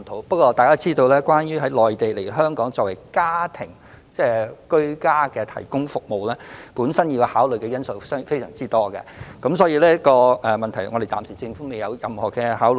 不過，大家也知道，從內地輸入傭工來港提供居家服務，本身需要考慮的因素非常多，所以政府暫時未有就此作出任何考慮。